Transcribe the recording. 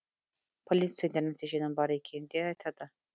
полицейлер нәтиженің бар екенін де айтады